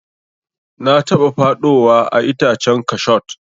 Na taba faɗowa a itacen kashot.